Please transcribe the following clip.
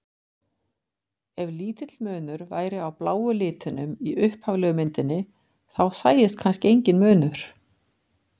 Ef lítill munur væri á bláu litunum í upphaflegu myndinni þá sæist kannski enginn munur.